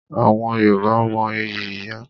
Àwọn Yorùbá mo ìyí ìyá.